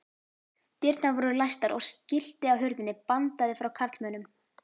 Dyrnar voru læstar og skilti á hurðinni bandaði frá karlmönnum.